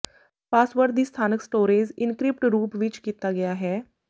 password ਦੀ ਸਥਾਨਕ storage encrypted ਰੂਪ ਵਿਚ ਕੀਤਾ ਗਿਆ ਹੈ